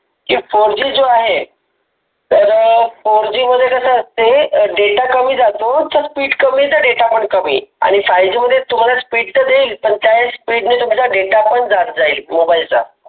fourG जो आहे, तर fourG मध्ये कस असते data कमी जातो speed कमी येत पण data पण कमी आणि fiveG मध्ये speed त देईन पण त्या speed ने तुमचा data पण जात जाईल mobile चा